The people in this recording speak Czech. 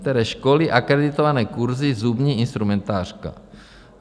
Které školy, akreditované kurzy, zubní instrumentářka.